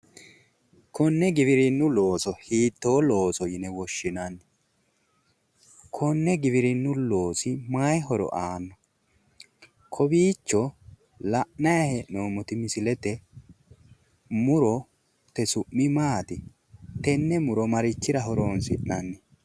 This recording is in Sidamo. Konne giwirinnu looso hiitto looso yine woshshinanni? Konne giwirinnu loosi mayi horo aano? Kowiicho la'naayi hee'noommoti murote su'mi maati? Tenne muro marichira horoonsi'nanni?